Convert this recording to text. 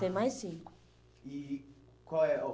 Tem mais cinco. E e qual é